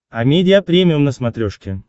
амедиа премиум на смотрешке